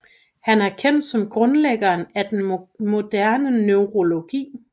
Han er kendt som grundlæggeren af den moderne neurologi